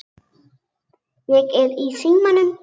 Ég er í símanum